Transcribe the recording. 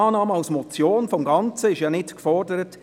Eine Annahme als Motion des Ganzen ist ja nicht gefordert.